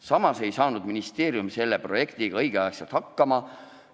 Samas ei saanud ministeerium selle projektiga õigeks ajaks hakkama.